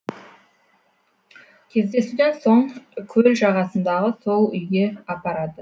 кездесуден соң көл жағасындағы сол үйге апарды